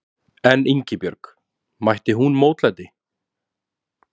En Ingibjörg, mætti hún mótlæti?